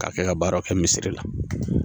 K'a kɛ ka baaraw kɛ misiri la